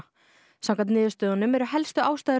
samkvæmt niðurstöðunum eru helstu ástæður